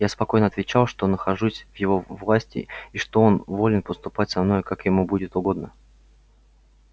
я спокойно отвечал что нахожусь в его власти и что он волен поступать со мною как ему будет угодно